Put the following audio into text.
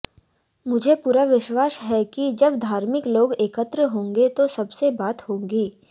मुझे पूरा विश्वास है कि जब धार्मिक लोग एकत्र होंगे तो सबसे बात होगी